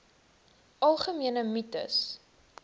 algemene mites